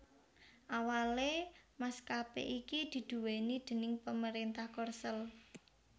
Awalé maskapé iki diduwéni déning pemerintah Korsel